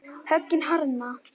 Höggin harðna.